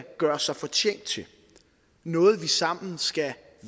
gøre sig fortjent til noget vi sammen skal